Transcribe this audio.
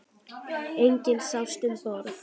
Enginn sást um borð.